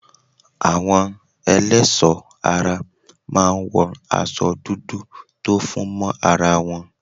Àwọn ẹlẹ́ẹ̀ṣọ́ ara máa ń wọ aṣo dúdú tó fún mọ́ ara wọn.